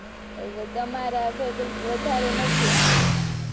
એટલે તમારા faculty વધારે નથી, એમ ને?